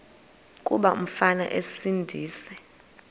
kuba umfana esindise